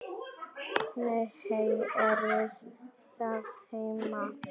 Nei, hæ, eruð þið heima!